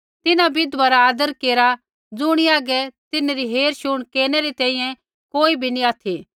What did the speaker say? तिन्हां विधवा रा आदर केरा ज़ुणी हागै तिन्हरी हेरशुण केरनै री तैंईंयैं कोई भी नैंई ऑथि